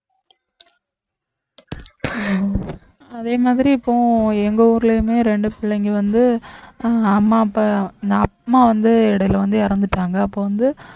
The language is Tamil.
உம் அதே மாதிரி இப்போ எங்க ஊரிலயுமே இரண்டு பிள்ளைங்க வந்து அஹ் அம்மா அப்பா நான் அம்மா வந்து இடையிலே வந்து இறந்துட்டாங்க அப்போ வந்து